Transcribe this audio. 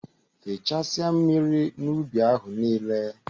Fechasia mmiri n'ubi ahụ nile!.